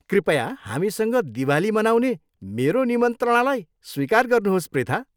कृपया हामीसँग दिवाली मनाउने मेरो निमन्त्रणालाई स्वीकार गर्नुहोस्, पृथा।